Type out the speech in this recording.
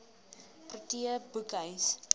protea boekhuis